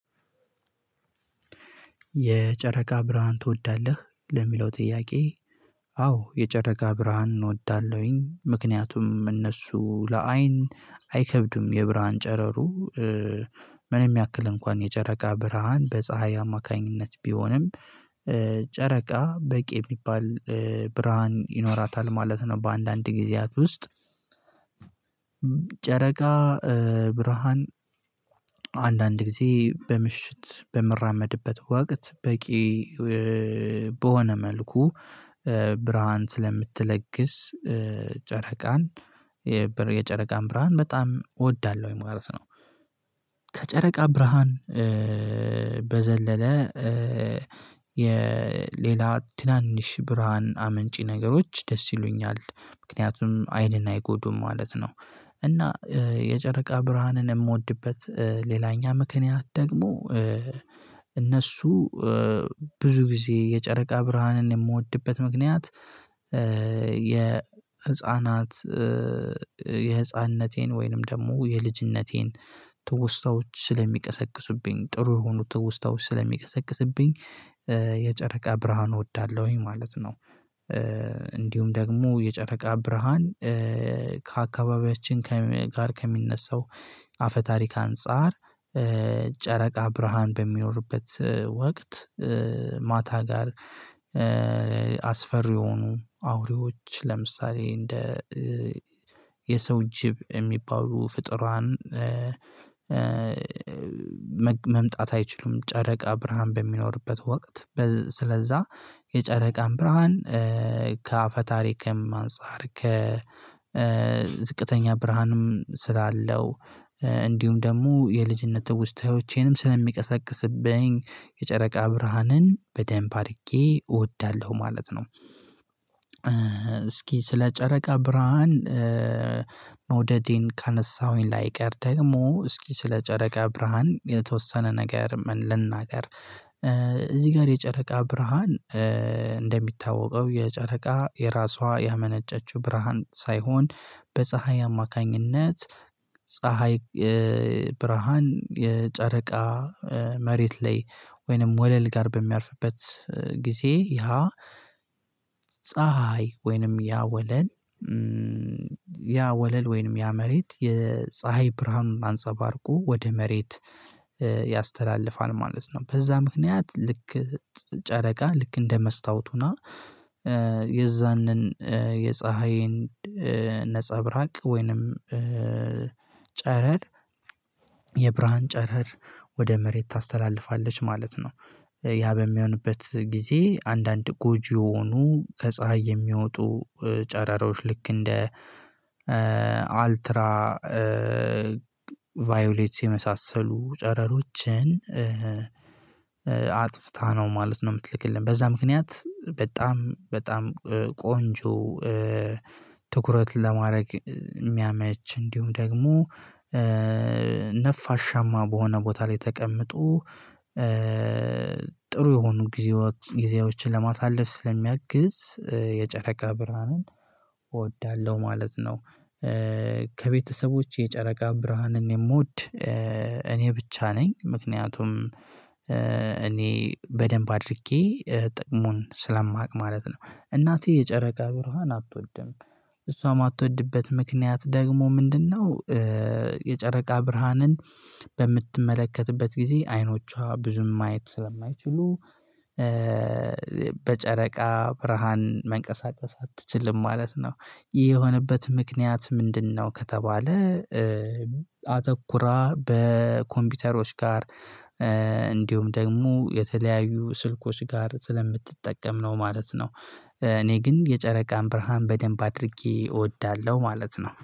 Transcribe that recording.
የጨረቃ ብርሃን ትወዳለህ ለሚለው ጥያቄ? አዎ የጨረቃ ብርሃን እወዳለሁኝ ምክንያቱም እነሱ ለአይን አይከብድም የብርሃን ጨረሩ። ምንም ያክል እንኳን የጨረቃ ብርሃን በፀሀይ አማካኝነት ቢሆንም ጨረቃ በቂ የሚባል ብርሃን ይኖራታል ማለት ነው። በአንዳንድ ጊዜያት ውስጥ ጨረቃ ብርሃን አንዳንድ ጊዜ በምሽት በምራመድበት ወቅት በቂ በሆነ መልኩ ብርሃን ስለምትለግስ ጨረቃን የጨረቃን ብርሃን በጣም እወዳለሁ ማለት ነው። ከጨረቃ ብርሃን በዘለለ የሌላ ትናንሽ ብርሃን አመንጪ ነገሮች ደስ ይሉኛል ምክንያቱም አይንን አይጎዱም ማለት ነው። እና የጨረቃ ብርሃንን የምወድበት ሌላኛ ምክንያት ደግሞ እነሱ ብዙ ጊዜ የጨረቃ ብርሃንን የምወድበት ምክንያት የ ህፃናት የህፃንነቴን ወይንም ደግሞ የልጅነቴን ትውስታዎች ስለሚቀሰቅስብኝ ጥሩ የሆኑ ትውስታዎች ስለሚቀሰቅስብኝ የጨረቃ ብርሃን እወዳለሁኝ ማለት ነው። እንዲሁም ደግሞ የጨረቃ ብርሃን ከአካባቢያችን ጋር ከሚነሳው አፈ ታሪክ አንፃር። ጨረቃ ብርሃን በሚኖርበት ወቅት ማታ ጋር አስፈሪ የሆኑ አውሬዎች ለምሳሌ እንደ የሰው ጅብ የሚባሉ ፍጥሯን መምጣት አይችሉም። ጨረቃ ብርሃን በሚኖርበት ወቅት ስለዛ የጨረቃም ብርሃን ከአፈ ታሪክም አንፃር ከዝቅተኛ ብርሃንም ስላለው እንዲሁም ደግሞ የልጅነት ትውስታዎቼንም ስለሚቀሰቅስብኝ የጨረቃ ብርሃንን በደንብ አድርጌ እወዳለሁ ማለት ነው። እስኪ ስለ ጨረቃ ብርሃን መውደዴን ካነሳሁኝ ላይቀር ደግሞ እስኪ ስለ ጨረቃ ብርሃን የተወሰነ ነገር ልናገር። እዚህ ጋር የጨረቃ ብርሃን እንደሚታወቀው የጨረቃ የራሷ ያመነጨችው ብርሃን ሳይሆን በፀሀይ አማካኝነት ፀሀይ ብርሃን የጨረቃ መሬት ላይ ወይንም ወለል ጋር በሚያርፍበት ጊዜ ያ ፀሀይ ወይንም ያ ወለል ያ ወለል ወይንም ያ መሬት የፀሀይ ብርሃኑን አንጸባርቆ ወደ መሬት ያስተላልፋል ማለት ነው። በዛ ምክንያት ልክ ጨረቃ ልክ እንደ መስታወቱ ሁና የዛንን የፀሀይን ነፀብራቅ ወይንም ጨረር የብርሃን ጨረር ወደ መሬት ታስተላልፋለች ማለት ነው። ያ በሚሆንበት ጊዜ አንዳንድ ጎጂ የሆኑ ከፀሀይ የሚወጡ ጨረሮች ልክ እንደ አልትራ ቫዮሌት የመሳሰሉ ጨረሮችን አጥፍታ ነው ማለት ነው። የምትልክልን በዛ ምክንያት በጣም በጣም ቆንጆ ትኩረት ለማድረግ የሚያመች እንዲሁም ደግሞ ነፋሻማ በሆነ ቦታ ላይ ተቀምጦ ጥሩ የሆኑ ጊዜዎችን ለማሳለፍ ስለሚያግዝ የጨረቃ ብርሃንን እወዳለሁ ማለት ነው። ከቤተሰቦች የጨረቃ ብርሃንን የምወድ እኔ ብቻ ነኝ ምክንያቱም እኔ በደንብ አድርጌ ጥቅሙን ስለማቅ ማለት ነው። እናቴ የጨረቃ ብርሃን አትወድም እሷ የማትወድበት ምክንያት ደግሞ ምንድነው? የጨረቃ ብርሃንን በምትመለከትበት ጊዜ አይኖቿ ብዙም ማየት ስለማይችሉ። በጨረቃ ብርሃን መንቀሳቀስ አትችልም ማለት ነው። የሆነበት ምክንያት ምንድነው ከተባለ? አተኩራ በኮምፒውተሮች ጋር እንዲሁም ደግሞ የተለያዩ ስልኮች ጋር ስለምትጠቀም ነው ማለት ነው። እኔ ግን የጨረቃም ብርሃን በደንብ አድርጌ እወዳለሁ ማለት ነው